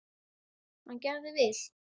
Hann gerði vel.